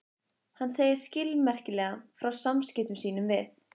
Hann segir skilmerkilega frá samskiptum sínum við